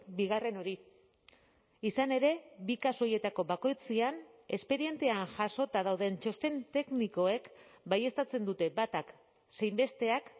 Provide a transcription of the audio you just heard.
bigarren hori izan ere bi kasu horietako bakoitzean espedientean jasota dauden txosten teknikoek baieztatzen dute batak zein besteak